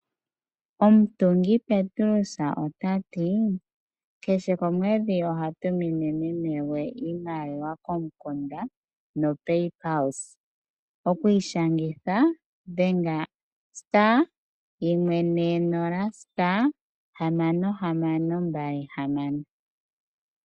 Omutungi Petrus otati kehe komwedhi oha tumine meme gwe iimaliwa komukunda no pay pulse. Okwiishangitha dhenga:*140*6626.